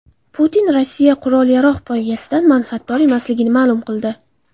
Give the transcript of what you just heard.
Putin Rossiya qurol-yarog‘ poygasidan manfaatdor emasligini ma’lum qildi.